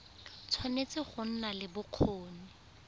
tshwanetse go nna le bokgoni